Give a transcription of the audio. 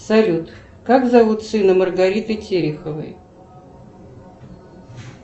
салют как зовут сына маргариты тереховой